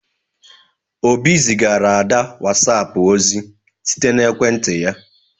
Obi zigara Ada whatapp ozi site na ekwentị ya